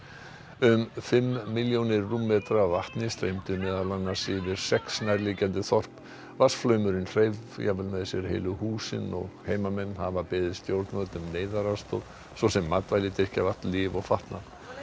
um fimm milljónir rúmmetra af vatni streymdu meðal annars yfir sex nærliggjandi þorp vatnsflaumurinn hreif jafnvel með sér heilu húsin og heimamenn hafa beðið stjórnvöld um neyðaraðstoð svo sem matvæli drykkjarvatn lyf og fatnað